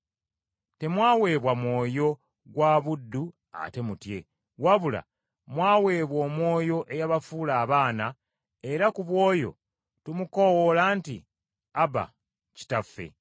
Temwaweebwa mwoyo gwa buddu ate mutye, wabula mwaweebwa Omwoyo eyabafuula abaana, era ku bw’oyo tumukoowoola nti, “ Aba, Kitaffe.”